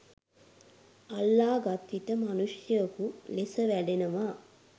අල්ලාගත්විට මනුෂ්‍යයකු ලෙස වැඩෙනවා.